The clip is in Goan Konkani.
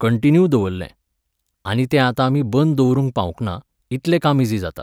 कंन्टिन्यू दवरलें. आनी तें आतां आमी बंद दवरूंक पावूंकना, इतलें काम इझी जाता